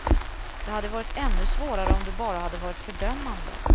Det hade varit ännu svårare om du bara hade varit fördömande.